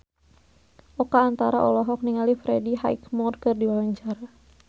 Oka Antara olohok ningali Freddie Highmore keur diwawancara